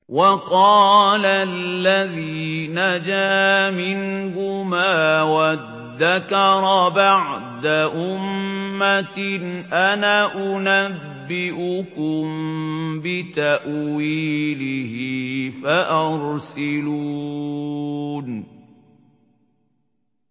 وَقَالَ الَّذِي نَجَا مِنْهُمَا وَادَّكَرَ بَعْدَ أُمَّةٍ أَنَا أُنَبِّئُكُم بِتَأْوِيلِهِ فَأَرْسِلُونِ